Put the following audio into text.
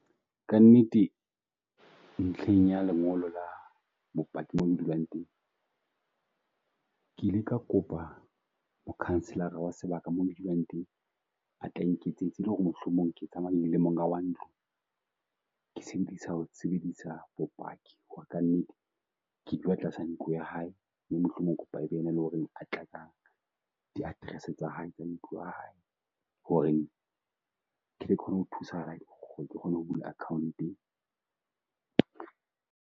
Kannete ntlheng ya lengolo la bopaki mo le dulang teng. Ke ile ka kopa mokhanselara wa sebaka moo ke dulang teng a tla nketsetsa e le ho re mohlomong ke qabane le monga wa ntlo. Ke sebedisa ho sebedisa bopaki ho re ka nnete ke dula tlasa ntlo ya hae mohlomong ke kopa ebe ena le ho re a tla a di-address tsa hae tsa ntlo ea hae hore ke kgone ho thusa right ke kgone ho bula Account-ng?